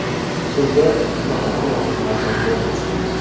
Shunda turnaqator navbatlar ham bo‘lmasdi.